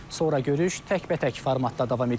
Sonra görüş təkbətək formatda davam edib.